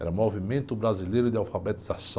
Era o Movimento Brasileiro de Alfabetização.